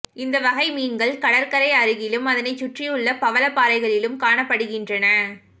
இந்த வகை மீன்கள் கடற்கரை அருகிலும் அதனைச் சுற்றியுள்ள பவளப்பாறைகளிலும் காணப்படுகின்றன